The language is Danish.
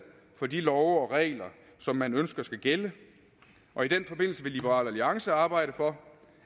for de love og regler som man ønsker skal gælde og i den forbindelse vil liberal alliance arbejde for